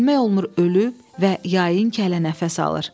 Bilmək olmur ölüb və yayın kələ nəfəs alır.